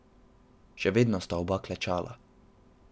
Še vedno sta oba klečala.